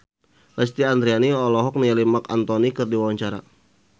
Lesti Andryani olohok ningali Marc Anthony keur diwawancara